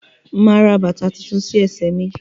Máa ra bàtà tuntun sí ẹsẹ mí